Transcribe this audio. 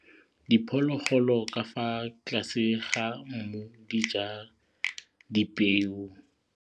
Diphologolo ka fa tlase ga mmu di ja dipeo.